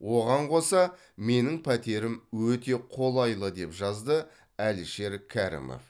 оған қоса менің пәтерім өте қолайлы деп жазды әлішер кәрімов